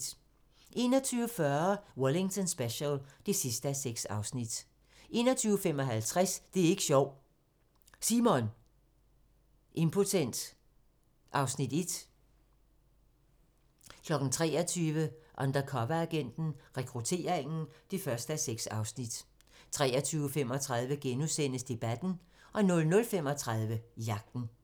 21:40: Wellington Special (6:6) 21:55: Det er ik' sjovt, Simon! - Impotent (Afs. 1) 23:00: Undercoveragenten - Rekrutteringen (1:6) 23:35: Debatten * 00:35: Jagten